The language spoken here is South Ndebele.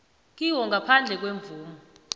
kiwo ngaphandle kwemvumo